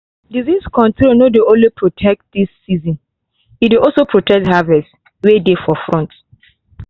disease control no dey only protect this season e dey also protect harvests way dey for front.